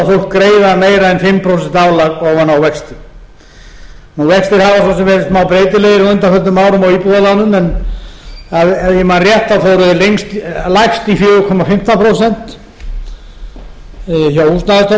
fólk greiða meira en fimm prósent álag ofan á vexti vextir hafa svo sem verið smábreytilegir á undanförnum á árum á íbúðarlánum en ef ég man rétt fóru þeir lægst í fjóra komma fimmtán prósent hjá húsnæðisstofnun ef ég